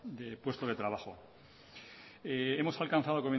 de puestos de trabajo hemos alcanzado